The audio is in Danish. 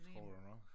Tror jeg da nok